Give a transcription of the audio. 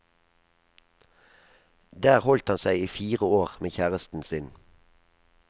Der holdt han seg i fire år med kjæresten sin.